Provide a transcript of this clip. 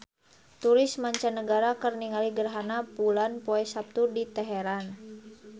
Turis mancanagara keur ningali gerhana bulan poe Saptu di Teheran